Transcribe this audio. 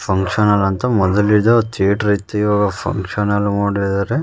Function hall ಅಂತ ಮೊದಲಿಂದ theatre ಐತೆ ಈವಾಗ ಫಂಕ್ಷನ್ ಹಾಲ್ ಮಾಡಿದಾರೆ.